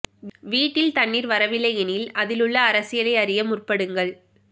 வீட்டில் தண்ணீர் வரவில்லை எனில் அதில் உள்ள அரசியலை அறிய முற்படுங்கள்